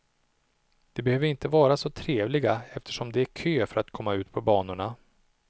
De behöver inte vara trevliga eftersom det är kö för att komma ut på banorna.